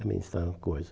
Também está na coisa.